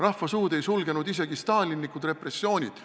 Rahva suud ei sulgenud isegi stalinlikud repressioonid.